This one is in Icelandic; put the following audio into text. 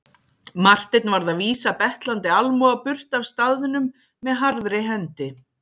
Marteinn varð að vísa betlandi almúga burt af staðnum með harðri hendi.